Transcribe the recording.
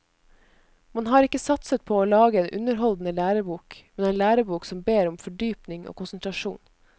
Man har ikke satset på å lage en underholdende lærebok, men en lærebok som ber om fordypning og konsentrasjon.